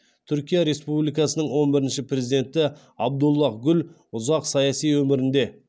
түркия республикасының он бірінші президенті абдуллаһ гүл ұзақ саяси өмірінде